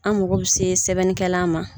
An mako bɛ se sɛbɛnnikɛla ma.